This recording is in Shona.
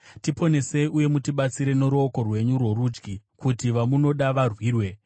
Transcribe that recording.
Tiponesei uye mutibatsire noruoko rwenyu rworudyi, kuti vamunoda varwirwe.